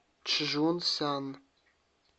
чжунсян